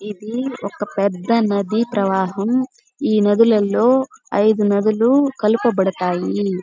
ఇది ఒక పెద్ద నది ప్రవాహము. ఈ నదులలో ఐదు నదులు కలపబడతాయి.